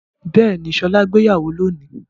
Bẹ́ẹ̀ni, Ṣọlá gbéyàwó lónìí.